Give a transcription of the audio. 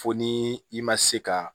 Fo ni i ma se ka